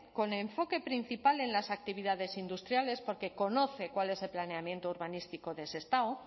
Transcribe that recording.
con enfoque principal en las actividades industriales porque conoce cuál es el planeamiento urbanístico de sestao